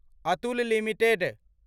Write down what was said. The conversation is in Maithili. अतुल लिमिटेड